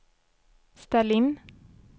ställ in